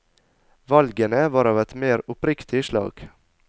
Valgene var av et mer oppriktig slag.